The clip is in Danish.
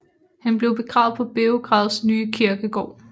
Han blev begravet på Beograds nye kirkegård